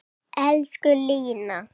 Elsku Lína.